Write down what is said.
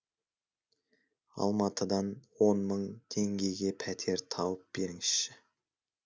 алматыдан он мың теңгеге пәтер тауып беріңізші